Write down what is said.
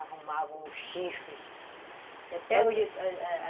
arrumavam um chifre